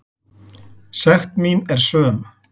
Sekt mín er söm.